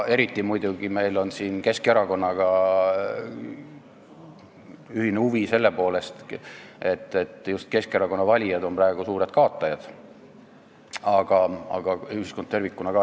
Eriti on meil siin ühine huvi muidugi Keskerakonnaga, selle poolest, et just Keskerakonna valijad on praegu suured kaotajad, aga ühiskond tervikuna ka.